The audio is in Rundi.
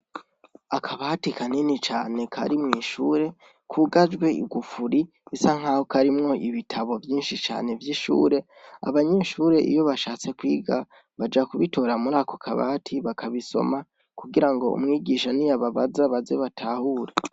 Akabatu kanini cane kari mw'ishure, kugajwe igufuri bisa nkaho karimwo ibitabo vyinshi vy'ishure. Abanyeshure iyo bashatse kwiga baja kubitora muri ako kabati bakabisoma kugirango umwigisha niyababaza baze batahure.